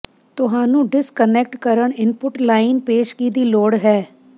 ਤੁਹਾਨੂੰ ਡਿਸਕਨੈਕਟ ਕਰਨ input line ਪੇਸ਼ਗੀ ਦੀ ਲੋੜ ਹੈ